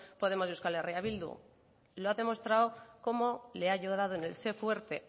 podemos y eh bildu lo ha demostrado cómo le ha ayudado en el sé fuerte